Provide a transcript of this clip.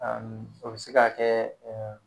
Ani o be se ka kɛ ɛ